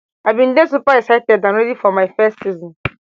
i bin dey super excited and ready for my first season